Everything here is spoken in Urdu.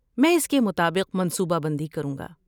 میں اس کے مطابق منصوبہ بندی کروں گا۔